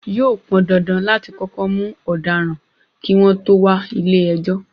Yóò pọndandan láti kọ́kọ́ mú ọ̀daràn, kí wọ́n tó wà ilé ẹjọ́.